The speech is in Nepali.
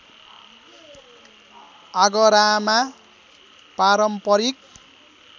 आगरामा पारम्परिक